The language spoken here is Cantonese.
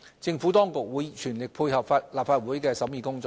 政府當局會全力配合立法會的審議工作。